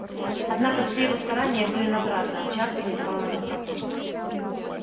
однако все его старания были напрасны овчарка не давала ему проходу